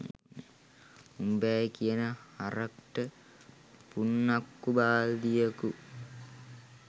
උම්බෑ කියන හරක්ට පුන්නක්කු බල්දියකු